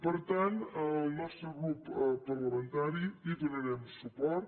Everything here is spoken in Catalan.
per tant el nostre grup parlamentari hi donarem suport